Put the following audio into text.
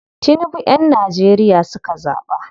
Tinibu yan Nageria suka zaɓa.